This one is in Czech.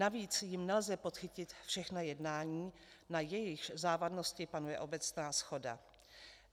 Navíc jím nelze podchytit všechna jednání, na jejichž závadnosti panuje obecná shoda.